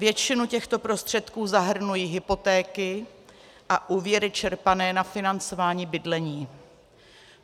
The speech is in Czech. Většinu těchto prostředků zahrnují hypotéky a úvěry čerpané na financování bydlení.